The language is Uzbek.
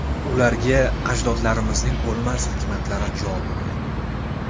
Ularga ajdodlarimizning o‘lmas hikmatlari jo bo‘lgan.